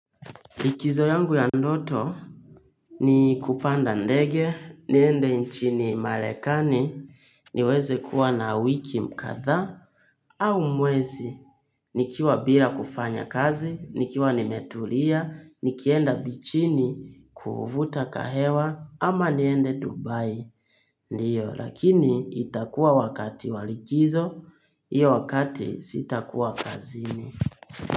Likizo yangu ya ndoto ni kupanda ndege, niende nchini malekani niweze kuwa na wiki mkadhaa au mwezi nikiwa bila kufanya kazi, nikiwa nimetulia, nikienda bichini kuuvuta kahewa ama niende dubai ndiyo lakini itakuwa wakati wa likizo, hiyo wakati sitakuwa kazini.